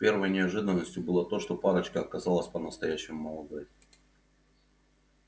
первой неожиданностью было то что парочка оказалась по-настоящему молодой